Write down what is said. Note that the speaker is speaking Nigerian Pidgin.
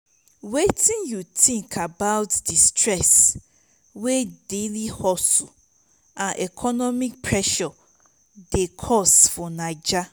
wetin you think about di stress wey daily hustles and economic pressure dey cause for naija?